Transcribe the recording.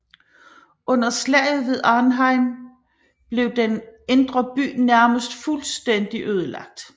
Under Slaget ved Arnhem blev den indre by nærmest fuldstændig ødelagt